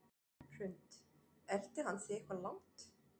Hrund: Elti hann þig eitthvað langt?